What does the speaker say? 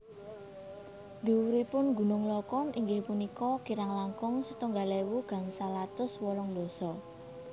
Dhuwuripun Gunung Lokon inggih punika kirang langkung setunggal ewu gangsal atus wolung dasa